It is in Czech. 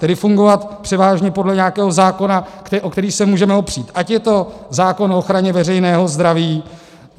Tedy fungovat převážně podle nějakého zákona, o který se můžeme opřít, ať je to zákon o ochraně veřejného zdraví...